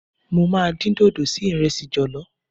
Mo máa dín dòdò sí ìrẹsì jọ̀lọ́.